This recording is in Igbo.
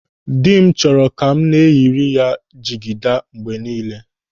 Dị m chọrọ ka m na-eyiri ya jigida mgbe ọbụla.